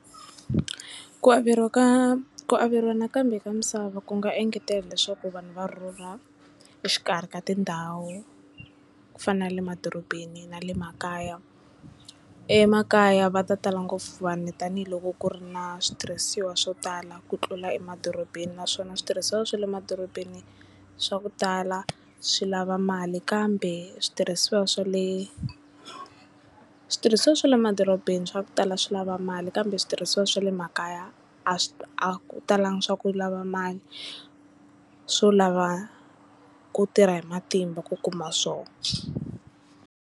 Ku averiwa ka ku averiwa nakambe ka misava ku nga engetela leswaku vanhu va rhurha exikarhi ka tindhawu ku fana na le madorobeni na le makaya emakaya va ta tala ngopfu vanhu tanihiloko ku ri na switirhisiwa swo tala ku tlula emadorobeni naswona switirhisiwa swa le madorobeni swa ku tala swi lava mali kambe switirhisiwa swa le switirhisiwa swa le madorobeni swa ku tala swi lava mali kambe switirhisiwa swa le makaya a swi a ku talangi swa ku lava mali swo lava ku tirha hi matimba ku kuma swoho.